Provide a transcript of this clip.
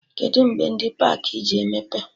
Kedụ mgbe ndị pakị ji emepe?